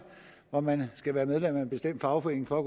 hvor man skal være medlem af en bestemt fagforening for at